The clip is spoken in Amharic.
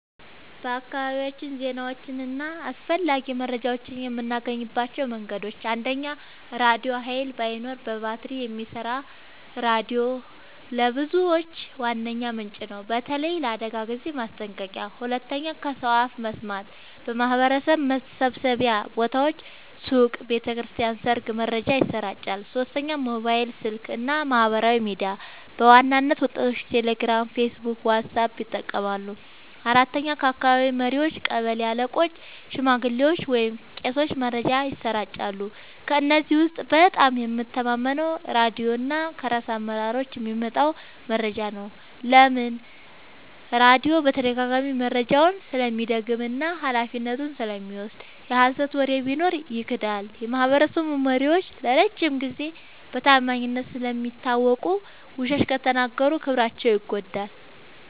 በአካባቢያችን ዜናዎችን እና አስፈላጊ መረጃዎችን የምናገኝባቸው መንገዶች፦ 1. ራድዮ – ኃይል ባይኖርም በባትሪ የሚሰራ ሬዲዮ ለብዙዎች ዋነኛ ምንጭ ነው፣ በተለይ ለአደጋ ጊዜ ማስጠንቀቂያ። 2. ከሰው አፍ መስማት – በማህበረሰብ መሰብሰቢያ ቦታዎች (ሱቅ፣ ቤተ ክርስቲያን፣ ሰርግ) መረጃ ይሰራጫል። 3. ሞባይል ስልክ እና ማህበራዊ ሚዲያ – በዋናነት ወጣቶች ቴሌግራም፣ ፌስቡክ ወይም ዋትስአፕ ይጠቀማሉ። 4. ከአካባቢ መሪዎች – ቀበሌ አለቆች፣ ሽማግሌዎች ወይም ቄሶች መረጃን ያሰራጫሉ። ከእነዚህ ውስጥ በጣም የምተማመነው ራድዮ እና ከራስ አመራሮች የሚመጣ መረጃ ነው። ለምን? · ራድዮ በተደጋጋሚ መረጃውን ስለሚደግም እና ኃላፊነቱን ስለሚወስድ። የሀሰት ወሬ ቢኖር ይክዳል። · የማህበረሰብ መሪዎች ለረጅም ጊዜ በታማኝነት ስለሚታወቁ፣ ውሸት ከተናገሩ ክብራቸው ይጎዳል።